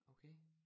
Okay